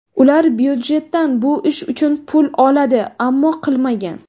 Ular byudjetdan bu ish uchun pul oladi, ammo qilmagan.